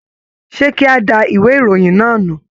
Ṣe kí a dá ìwé ìròyìn náà nù?